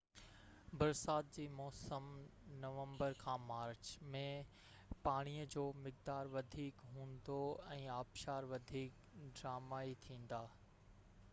برسات جي موسم نومبر کان مارچ ۾، پاڻيءَ جو مقدار وڌيڪ هوندو ۽ آبشار وڌيڪ ڊرامائي ٿيندا